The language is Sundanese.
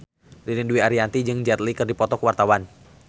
Ririn Dwi Ariyanti jeung Jet Li keur dipoto ku wartawan